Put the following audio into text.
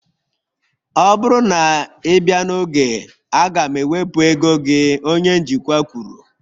Ọ bụrụ na ị bịa n'oge, a ga m ewepụ ego gị onye njikwa kwuru